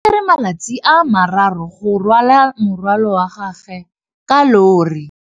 O tsere malatsi a le marraro go rwala morwalo otlhe wa gagwe ka llori.